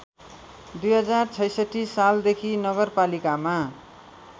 २०६६ सालदेखि नगरपालिकामा